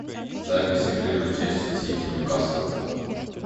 запись игры манчестер сити ньюкасл